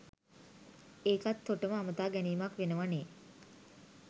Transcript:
ඒකත් තොටම අමතා ගැනීමක් වෙනව නේ